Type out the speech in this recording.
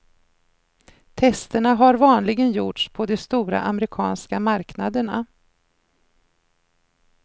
Testerna har vanligen gjorts på de stora amerikanska marknaderna.